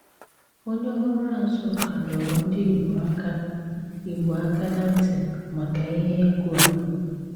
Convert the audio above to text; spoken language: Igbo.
Onyè ọrụ́ Àzùká dọ̀rọ̀ ndị Ìgbò àkà Ìgbò àkà ná̀ ntị maka ìhè ègwù̀ à.